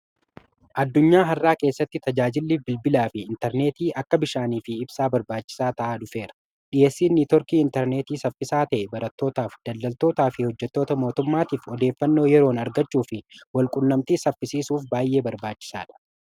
addunyaa har'aa keessatti tajaajilli bilbilaa fi intarneetii akka bishaanii fi ibsaa barbaachisaa ta'aa dhufeera dhiyeessin networkii intarneetii saffisaa ta'e barattootaaf daldaltootaa fi hojjetoota mootummaatiif odeeffannoo yeroon argachuu fi walqunnamtii saffisiisuuf baay'ee barbaachisaa dha